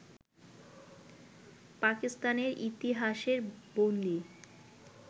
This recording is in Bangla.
পাকিস্তানের ইতিহাসের বন্দী